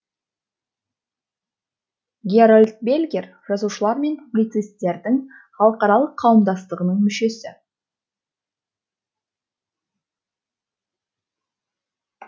герольд бельгер жазушылар мен публицисттердің халықаралық қауымдастығының мүшесі